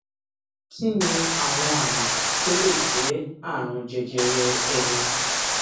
kí ni àwọn àmì tó lè jé àrùn jẹjẹrẹ ẹnu